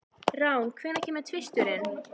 Rán, hvenær kemur tvisturinn?